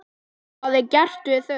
Hvað er gert við þau?